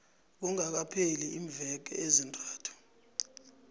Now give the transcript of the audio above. kungakapheli iimveke ezintathu